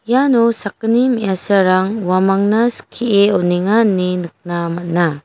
iano sakgni me·asarang uamangna skie on·enga ine nikna man·a.